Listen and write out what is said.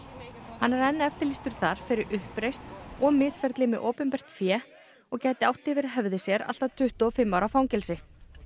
hann er enn eftirlýstur þar fyrir uppreisn og misferli með opinbert fé og gæti átt yfir höfði sér allt að tuttugu og fimm ára fangelsi